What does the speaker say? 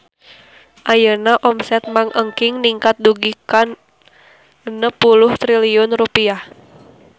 Ayeuna omset Mang Engking ningkat dugi ka 60 triliun rupiah